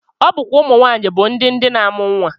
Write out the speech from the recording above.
Ọ bụkwa ụmụnwaanyị bụ ndị ndị na-amụ nnwa